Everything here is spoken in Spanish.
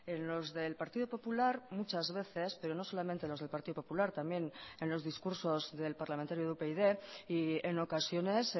en los del partido popular muchas veces pero no solamente los del partido popular también en los discursos del parlamentario de upyd y en ocasiones